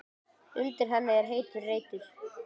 Undir henni er heitur reitur.